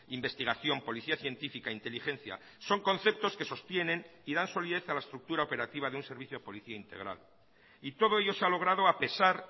investigación policía científica inteligencia son conceptos que sostienen y dan solidez a la estructura operativa de un servicio policía integral y todo ello se ha logrado a pesar